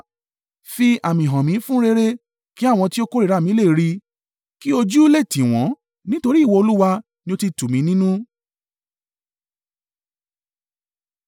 Fi àmì hàn mí fún rere, kí àwọn tí ó kórìíra mi lè ri, kí ojú lè tì wọ́n, nítorí ìwọ Olúwa ni ó ti tù mí nínú.